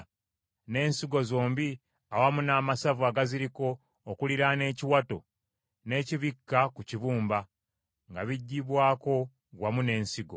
n’ensigo zombi awamu n’amasavu agaziriko okuliraana ekiwato, n’ekibikka ku kibumba, nga biggyibwako wamu n’ensigo.